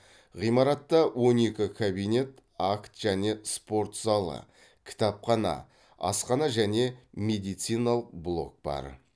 ғимаратта он екі кабинет акт және спорт залы кітапхана асхана және медициналық блок бар